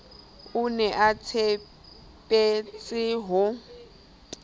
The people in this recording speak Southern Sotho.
o ne a tshepetse ho